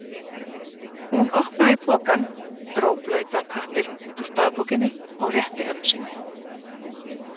Hún opnaði pokann, dró blautan pappírinn út úr dagbókinni og rétti ömmu sinni.